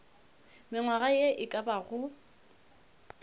mengwaga ye e ka bago